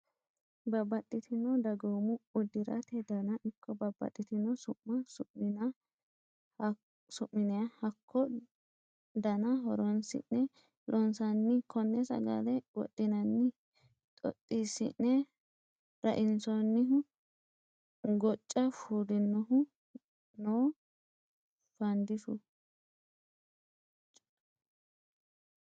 Babbaxxitino dagoomu uddirate dana ikko babbaxxitino su'ma su'minna hakko dana horonsi'ne loonsanni kone sagale wodhinanniha ,xoxisine rainsonihu gocca fulinohu no fadishshu.